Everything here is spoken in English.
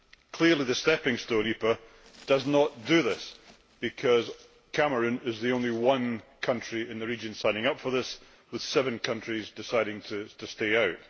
Clearly the stepping stone EPA does not do this because Cameroon is the only country in the region signing up for it, with seven countries deciding to stay out.